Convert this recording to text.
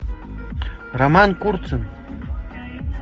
роман курцын